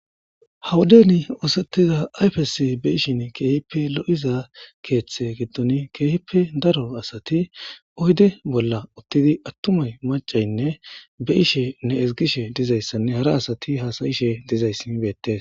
Hawudeni oosettiza ayfesi be ishin keehippe lo'iza keeththe giddon keehippe daro asati oyde bolla uttidi attumay macaynne be ishe ne ezgishe dizayssanne hara asati hasayishe dizayssi mibeetes.